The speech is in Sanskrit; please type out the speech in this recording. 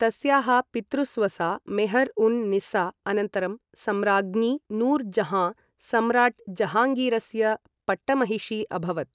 तस्याः पितृस्वसा मेहर् उन् निस्सा अनन्तरं सम्राज्ञी नूर् जहाँ, सम्राट् जहाङ्गीरस्य पट्टमहिषी अभवत्।